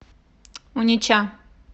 унеча